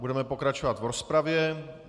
Budeme pokračovat v rozpravě.